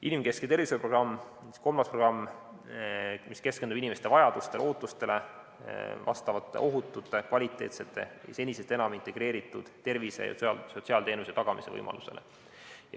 Inimkeskse tervishoiu programm, kolmas programm, keskendub inimeste vajadustele ja ootustele, ohutute, kvaliteetsete või senisest enam integreeritud tervise- ja sotsiaalteenuste tagamise võimalusele.